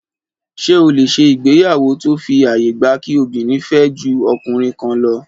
Ṣé o lè ṣe ìgbéyàwó tó fi àyè gba kí obìnrin fẹ́ ju ọkùnrin kan lọ?